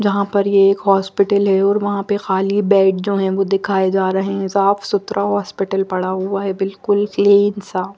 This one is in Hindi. जहाँ पर ये एक हॉस्पिटल है और वहां पे खाली बेड जो हैं वो दिखाए जा रहे हैं साफ़ सुथरा हॉस्पिटल पड़ा हुआ है बिल्कुल क्लीन साफ़।